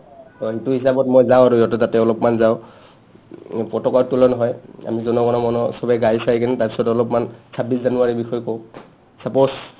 অ, সেইটো হিচাপত মই যাও আৰু সিহঁতৰ তাতে অলপমান যাও পতকা উত্তোলন হয় আমি জনগণ মন চবে গাই-চাই কিনে তাৰপিছত অলপমান ছাব্বিছ জানুৱাৰীৰ বিষয়ে কওঁ suppose